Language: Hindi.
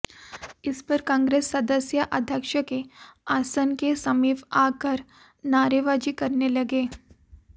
इस पर कांग्रेस सदस्य अध्यक्ष के आसन के समीप आकर नारेबाजी करने लगे